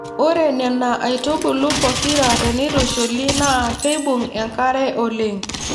Ore Nena aitubulu pokira teneitushuli naa keibung'enkare oleng.